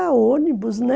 Ah, acho que era ônibus, né?